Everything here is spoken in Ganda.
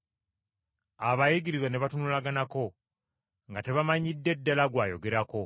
Abayigirizwa ne batunulaganako, nga tebamanyidde ddala gw’ayogerako.